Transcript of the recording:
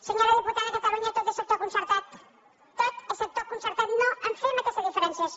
senyora diputada a catalunya tot és sector concertat tot és sector concertat no fem aquesta diferenciació